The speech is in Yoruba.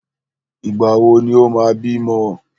Ìgbà wò ni o máa bímọ?